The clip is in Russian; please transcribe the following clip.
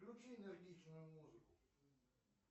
включи энергичную музыку